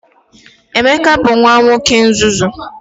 Emeka bu nwa nwoke nzuzu.